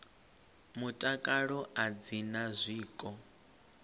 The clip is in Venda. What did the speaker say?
mutakalo a dzi na zwiko